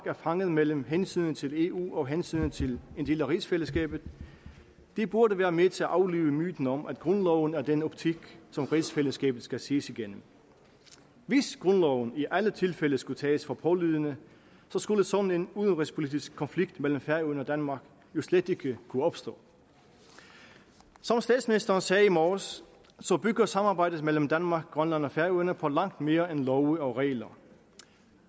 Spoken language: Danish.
er fanget mellem hensynet til eu og hensynet til en del af rigsfællesskabet det burde være med til at aflive myten om at grundloven er den optik som rigsfællesskabet skal ses igennem hvis grundloven i alle tilfælde skulle tages for pålydende skulle sådan en udenrigspolitisk konflikt mellem færøerne og danmark jo slet ikke kunne opstå som statsministeren sagde i morges bygger samarbejdet mellem danmark grønland og færøerne på langt mere end love og regler